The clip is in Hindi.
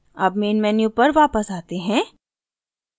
अब मेन मेन्यू पर वापस आते हैं